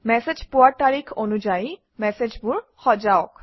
message পোৱাৰ তাৰিখ অনুযায়ী মেচেজবোৰ সজাওক